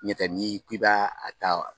Ɲ'o tɛ n'i k'i b'a a ta ?